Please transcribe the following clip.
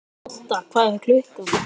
Odda, hvað er klukkan?